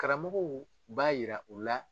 Karamɔgɔw b'a jira u la.